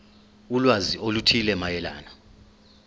ulwazi oluthile mayelana